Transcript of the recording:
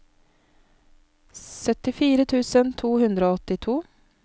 syttifire tusen to hundre og åttito